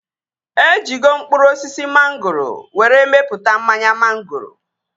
E jigo mkpụrụ osisi mangoro were mepụta mmanya mangoro